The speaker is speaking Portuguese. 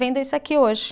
Venda isso aqui hoje.